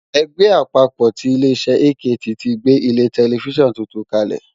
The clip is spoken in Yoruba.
Ẹgbẹ́ àpapọ̀ ti ilé iṣẹ́ AKT ti gbé ilé tẹlifísàn tuntun kalẹ̀